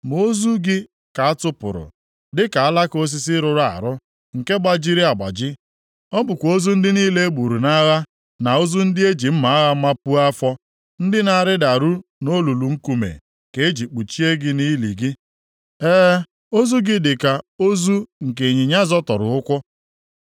Ma ozu gị ka a tụpụrụ dịka alaka osisi rụrụ arụ, nke gbajiri agbaji. Ọ bụkwa ozu ndị niile e gburu nʼagha, na ozu ndị e ji mma agha mapuo afọ, ndị na-arịdaru nʼolulu nkume, ka e ji kpuchie gị nʼili gị. E, ozu gị dị ka ozu nke ịnyịnya zọtọrọ ụkwụ.